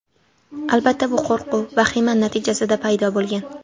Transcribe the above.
Albatta, bu qo‘rquv, vahima natijasida paydo bo‘lgan.